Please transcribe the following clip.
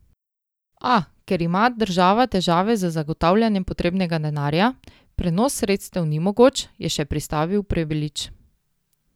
A, ker ima država težave z zagotavljanjem potrebnega denarja, prenos sredstev ni mogoč, je še pristavil Prebilič.